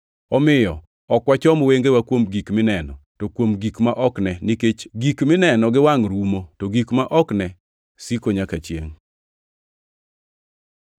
Omiyo ok wachom wengewa kuom gik mineno, to kuom gik ma ok ne. Nikech gik mineno gi wangʼ rumo, to gik ma ok ne siko nyaka chiengʼ.